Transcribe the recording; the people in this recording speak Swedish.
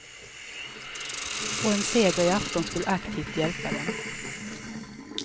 Och en seger i afton skulle aktivt hjälpa dem.